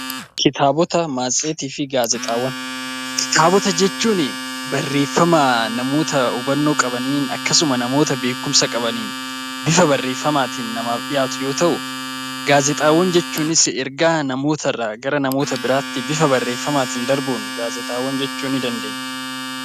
Kitaabota, matseetii fi gaazexaawwan Kitaabota jechuun barreeffama namoota hubannoo qabaniin akkasuma namoota beekumsa qabaniin bifa barreeffamaatiin namaaf dhiyaatu yoo ta'u; Gaazexaawwan jechuunis ergaa namoota irraa gara namoota biraatti bifa barreeffamaatiin darbuun gaazexaawwan jechuu ni dandeenya.